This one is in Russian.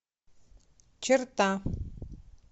черта